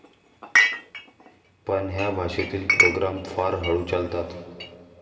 पण ह्या भाषेतील प्रोग्राम फार हळू चालतात.